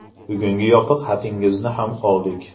Bugungi yopiq xatingizni ham oldik.